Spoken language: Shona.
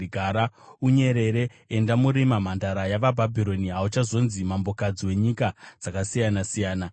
Gara unyerere, enda murima, Mhandara yavaBhabhironi; hauchazonzi mambokadzi wenyika dzakasiyana-siyana.